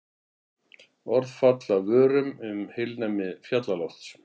Orð falla af vörum um heilnæmi fjallalofts.